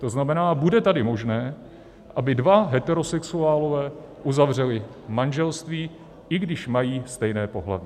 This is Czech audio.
To znamená, bude tady možné, aby dva heterosexuálové uzavřeli manželství, i když mají stejné pohlaví.